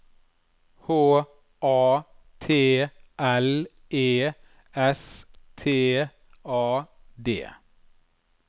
H A T L E S T A D